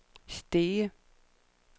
Stege